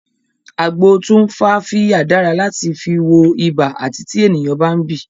Agbo tumfafiya dára láti fi wọ ibà àti tí ènìyàn bá ń bì